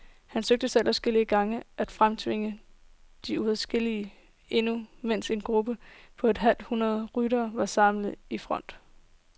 Han søgte selv adskillige gange at fremtvinge en udskillelse, endnu mens en gruppe på et halvt hundrede ryttere var samlet i front.